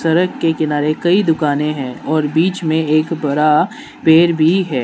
सड़क के किनारे कई दुकानें हैं और बीच में एक बड़ा पेड़ भी है।